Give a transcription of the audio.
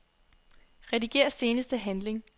Rediger seneste handling.